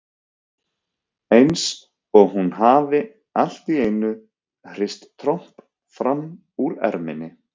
Eins og hún hafi allt í einu hrist tromp fram úr erminni.